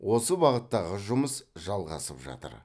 осы бағыттағы жұмыс жалғасып жатыр